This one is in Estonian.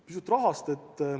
Pisut ka rahast.